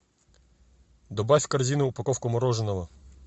добавь в корзину упаковку мороженого